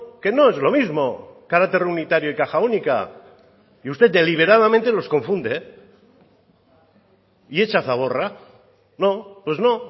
que no es lo mismo carácter unitario y caja única y usted deliberadamente los confunde y echa zaborra no pues no